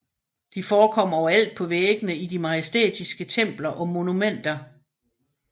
De forekom overalt på væggene i de majestætisker templer og monumenter